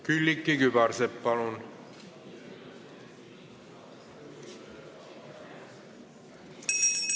Külliki Kübarsepp, palun!